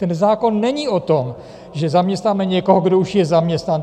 Ten zákon není o tom, že zaměstnáme někoho, kdo už je zaměstnán.